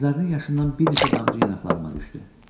Gözlərinin yaşından bir neçə damcı yanaqlarıma düşdü.